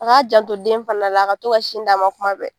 A ka janto den fana la, a ka to ka sin d'a ma kuma bɛɛ.